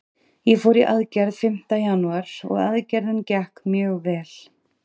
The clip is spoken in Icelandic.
Ég fór í aðgerð fimmta janúar og aðgerðin gekk mjög vel.